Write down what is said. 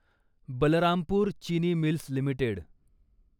Balrampur Chini mills limited